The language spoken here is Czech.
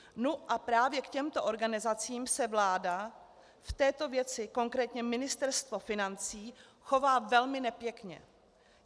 Nu a právě k těmto organizacím se vláda v této věci, konkrétně Ministerstvo financí, chová velmi nepěkně.